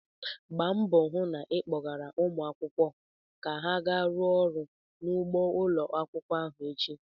Gba mbọ hụ na ị kpọgara ụmụ akwụkwọ ka ha gaa rụọ ọrụ n'ugbo ụlọ akwụkwọ echi!